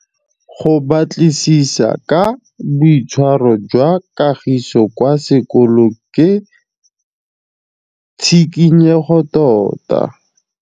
Go batlisisa ka boitshwaro jwa Kagiso kwa sekolong ke tshikinyêgô tota.